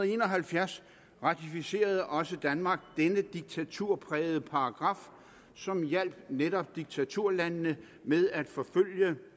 en og halvfjerds ratificerede også danmark denne diktaturprægede paragraf som hjalp netop diktaturlandene med at forfølge